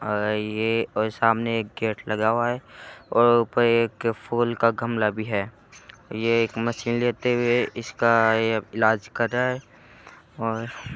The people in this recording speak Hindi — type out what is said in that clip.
अ-यह ओ सामने एक गेट लगा हुआ है और ऊपर एक फूल का गमला भी है ये एक मशीन लेते हुए इसका इलाज कर रहा है और--